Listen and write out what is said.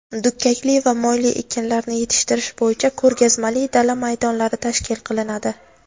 dukkakli va moyli ekinlarni yetishtirish bo‘yicha ko‘rgazmali dala maydonlari tashkil qilinadi.